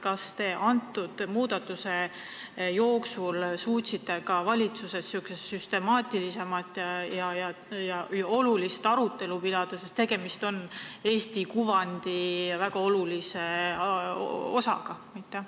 Kas te nende muudatuste jooksul suutsite ka valitsuses süstemaatilisemat arutelu pidada, sest tegemist on Eesti kuvandi väga olulise osaga?